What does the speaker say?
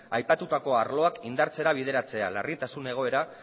aipatutako arloak indartzera bideratzea larritasun egoera